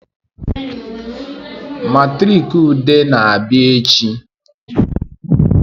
Matriki Ude na-abịa echi